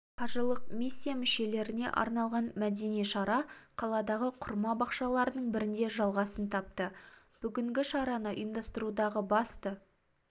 қажылық миссия мүшелеріне арналған мәдени шара қаладағы құрма бақшаларының бірінде жалғасын тапты бүгінгі шараны ұйымдастырудағы басты